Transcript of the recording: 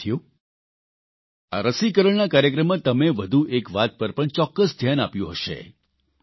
સાથીઓ આ રસીકરણના કાર્યક્રમમાં તમે વધુ એક વાત પર પણ ચોકકસ ધ્યાન આપ્યું હશે